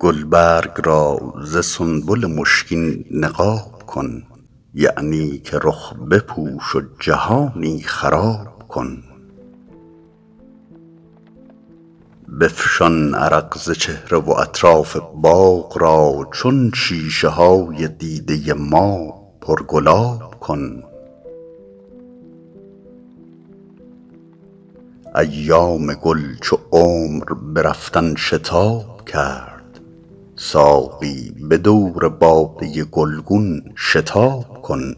گلبرگ را ز سنبل مشکین نقاب کن یعنی که رخ بپوش و جهانی خراب کن بفشان عرق ز چهره و اطراف باغ را چون شیشه های دیده ما پرگلاب کن ایام گل چو عمر به رفتن شتاب کرد ساقی به دور باده گلگون شتاب کن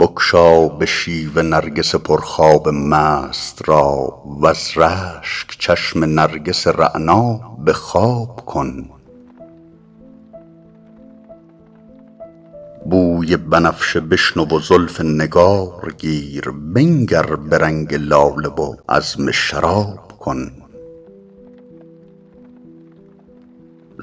بگشا به شیوه نرگس پرخواب مست را وز رشک چشم نرگس رعنا به خواب کن بوی بنفشه بشنو و زلف نگار گیر بنگر به رنگ لاله و عزم شراب کن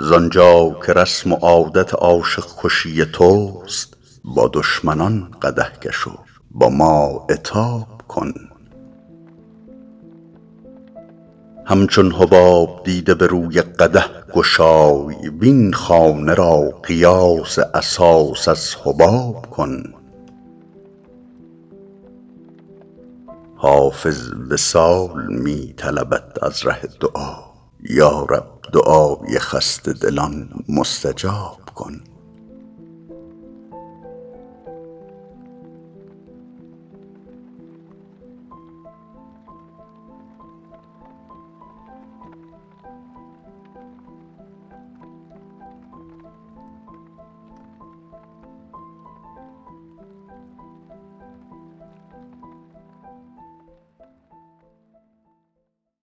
زآن جا که رسم و عادت عاشق کشی توست با دشمنان قدح کش و با ما عتاب کن همچون حباب دیده به روی قدح گشای وین خانه را قیاس اساس از حباب کن حافظ وصال می طلبد از ره دعا یا رب دعای خسته دلان مستجاب کن